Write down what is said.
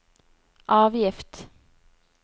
avgift